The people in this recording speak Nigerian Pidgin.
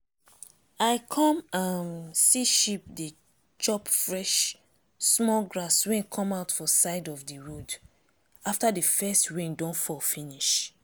i come um see sheep dey chop fresh small grass wey come out for side of d road after d first rain don fall finish.